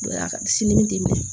Sini t'i minɛ